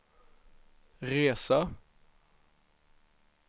resa